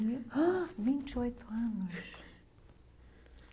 Vinte e oito anos.